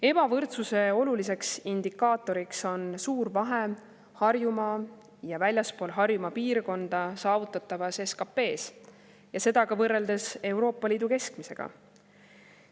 Ebavõrdsuse oluliseks indikaatoriks on suur vahe Harjumaa ja väljaspool Harjumaa piirkonda saavutatavas SKP‑s, ja seda ka võrreldes Euroopa Liidu keskmisega.